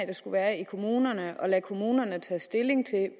det skal være i kommunerne og vil lade kommunerne tage stilling til